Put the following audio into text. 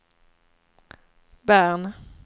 Bern